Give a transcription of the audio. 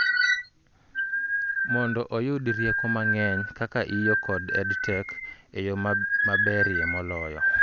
Mondo oyudi rieko mang'eny kaka iiyo kod EdTech eyo maberie moloyo